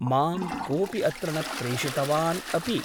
मां कोऽपि अत्र न प्रेषितवान् अपि ।